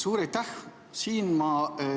Suur aitäh!